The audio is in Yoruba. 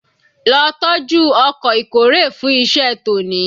Lo tọ́jú ọkọ̀ ìkórè fún iṣẹ́ tòní